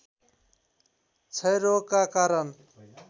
क्षयरोगका कारण